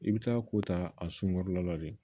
I bɛ taa ko ta a sunkɔrɔla la de